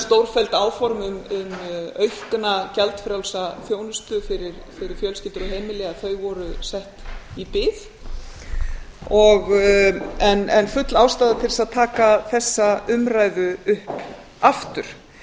stórfelld áform um aukna gjaldfrjálsa þjónustu fyrir fjölskyldur og heimili þau voru sett í bið en full ástæða að taka þessa umræðu upp aftur